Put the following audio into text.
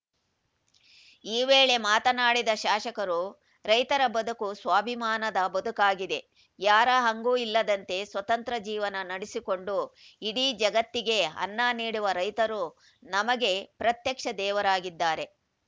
ಈ ವೇಳೆ ಮಾತನಾಡಿದ ಶಾಸಕರು ರೈತರ ಬದುಕು ಸ್ವಾಭಿಮಾನದ ಬದುಕಾಗಿದೆ ಯಾರ ಹಂಗೂ ಇಲ್ಲದಂತೆ ಸ್ವತಂತ್ರ ಜೀವನ ನಡೆಸಿಕೊಂಡು ಇಡೀ ಜಗತ್ತಿಗೆ ಅನ್ನ ನೀಡುವ ರೈತರು ನಮಗೆ ಪ್ರತ್ಯಕ್ಷ ದೇವರಾಗಿದ್ದಾರೆ